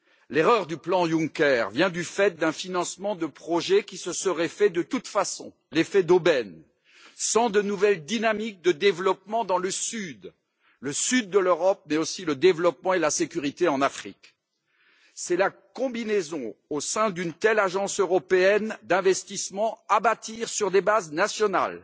L'erreur du plan Juncker vient du fait d'un financement de projets qui se serait fait de toute façon l'effet d'aubaine sans de nouvelles dynamiques de développement dans le sud de l'Europe, mais aussi le développement et la sécurité en Afrique. C'est la combinaison, au sein d'une telle agence européenne d'investissement à bâtir sur des bases nationales,